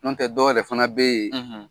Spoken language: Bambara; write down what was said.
Nɔntɛ dɔ yɛrɛ fana be ye,